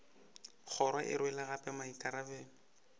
kgoro e rwele gape maikarabelo